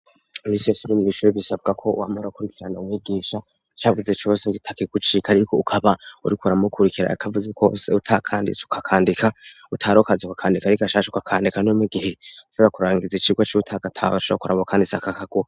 Imisi yose uri mw'ishure bisabwako wama urakurikirana umwigisha icavuze cose atakigucika ariko ukaba uriko uramukurikira icavuze cose utakanditse ukacandika utarokazi ukakandika arigashasha ukakandika no mugihe ushobora kurangiza icirwa utagatahuye urashobora kuraba uwakanditse akakaguha.